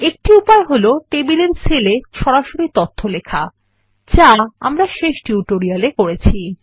একটি উপায় হল টেবিলের সেলে সরাসরি তথ্য লেখা যা আমরা শেষ টিউটোরিয়ালে করেছি